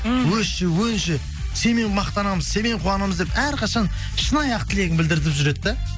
өсші өнші сенмен мақтанамыз сенмен қуанамыз деп әрқашан шынайы ақ тілегін білдіртіп жүреді да